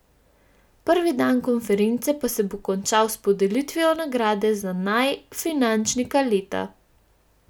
Prvi dan konference pa se bo končal s podelitvijo nagrade za naj finančnika leta.